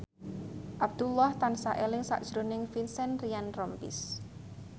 Abdullah tansah eling sakjroning Vincent Ryan Rompies